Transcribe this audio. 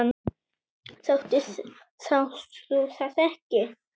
Sástu það ekki?